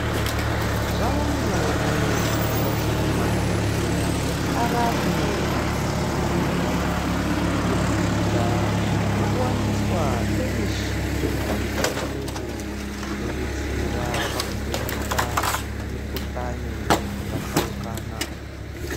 Zvavanyore kuti madhokodheya arape antu anorwara kubudikidza nekuwaniswa kwemishini yechiyungu inodetsera pakuvheneka mikuhlani dzakatsaukana